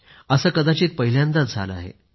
असे कदाचित पहिल्यांदाच झाले आहे